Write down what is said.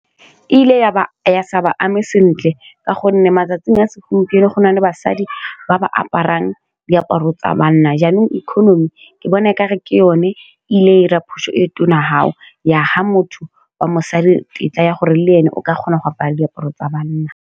Eile ya ba sa ba ame sentle ka gonne matsatsing a segompieno go nale basadi ba ba aparang diaparo tsa banna jaanong economy, ke bona e kare ke yone e ile ira phoso e tona fao ya fa motho wa mosadi tetla ya gore le ene o ka kgona go apara diaparo tsa banna.